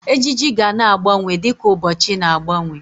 Ejiji gana agbanwe di ka ụbọchị na-agbanwe.